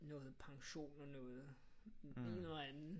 Noget pension og noget en eller anden